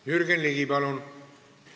Jürgen Ligi, palun!